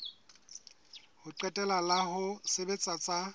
ho qetela la ho sebetsa